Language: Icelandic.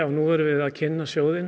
nú erum við að kynna sjóðinn